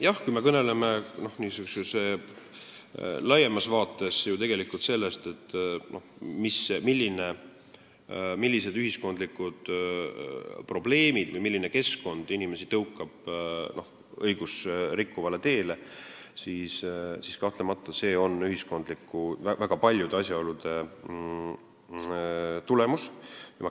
Jah, kui me kõneleme laiemas vaates sellest, millised ühiskondlikud probleemid tõukavad või milline keskkond tõukab inimesi õigust rikkuvale teele, siis kahtlemata on see väga paljude asjaolude tulemus.